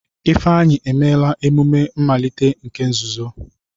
Ifeanyi emela emume mmalite nke nzuzo.